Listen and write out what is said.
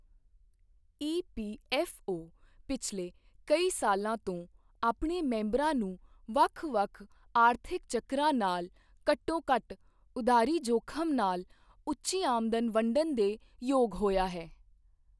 EPFO ਪਿਛਲੇ ਕਈ ਸਾਲਾਂ ਤੋਂ ਆਪਣੇ ਮੈਂਬਰਾਂ ਨੂੰ ਵੱਖ ਵੱਖ ਆਰਥਿਕ ਚੱਕਰਾਂ ਨਾਲ ਘੱਟੋ ਘੱਟ ਉਧਾਰੀ ਜ਼ੋਖਿਮ ਨਾਲ ਉੱਚੀ ਆਮਦਨ ਵੰਡਣ ਦੇ ਯੋਗ ਹੋਇਆ ਹੈ।